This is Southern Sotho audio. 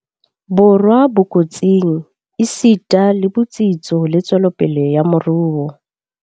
Borwa ko tsing, esita le botsitso le tswelopele ya moruo.